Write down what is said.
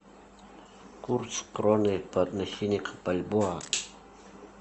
курс кроны по отношению к бальбоа